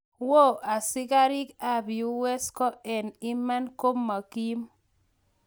Woo , asigariik ap US ko en iman koma kiim